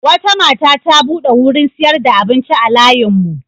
Wata mata ta buɗe wurin sayar da abinci a layinmu.